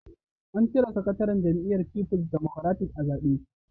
An cire sakataren jam'iyyar Fifuls Democratic (PDP) a zabe.